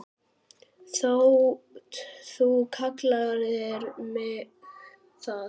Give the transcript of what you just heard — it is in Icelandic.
þótt þú kallir mig það.